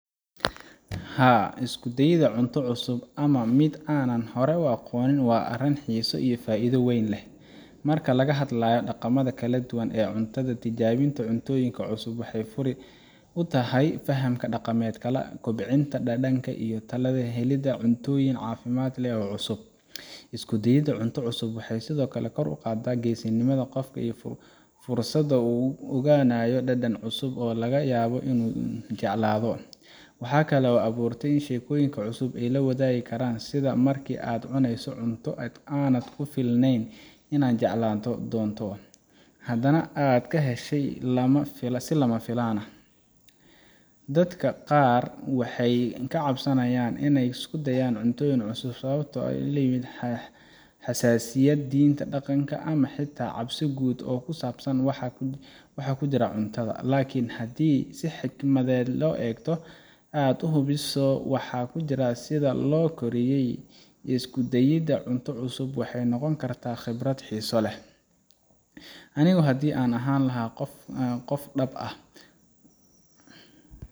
Haa, isku dayidda cunto cusub ama mid aanan hore u aqoon waa arrin aan xiiso iyo faa’iido weyn leh. Marka laga hadlayo dhaqamada kala duwan ee cunnada, tijaabinta cuntooyin cusub waxay fure u tahay fahamka dhaqamada kale, kobcinta dhadhanka, iyo xitaa helidda cuntooyin caafimaad leh oo cusub. Isku dayidda cunto cusub waxay sidoo kale kor u qaadaa geesinimada qofka iyo fursadda uu ku ogaanayo dhadhan cusub oo laga yaabo inuu jeclaado. Waxa kale oo ay abuurtaa sheekooyin cusub oo la wadaagi karo — sida markii aad cunayso cunto aanad filayn inaad jeclaan doonto, haddana aad ka heshay si lama filaan ah. Dadka qaar way ka cabsadaan isku dayidda cunto cusub sababo ay ka mid yihiin: xasaasiyad, diinta, dhaqanka, ama xitaa cabsi guud oo ku saabsan waxa ku jira cuntada. Laakiin haddii aad si xikmad leh u eegto, oo aad hubiso waxa ku jira iyo sida loo kariyay, isku dayidda cunto cusub waxay noqon kartaa khibrad xiiso leh. Anigu haddii aan ahaan lahaa qof dhab ah,